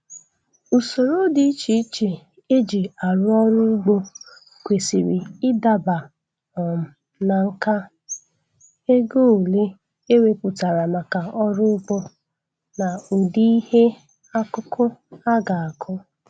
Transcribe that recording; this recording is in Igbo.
Usoro dị iche iche e ji arụ ọrụ ugbo kwesịrị ịdaba um na nka, ego ole e wepụtara maka ọrụ ugbo, na ụdị ihe akụkụ a ga-akụ